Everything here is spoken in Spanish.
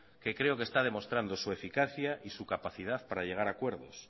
que creo que esta demostrando su eficacia y se capacidad para llegar a acuerdos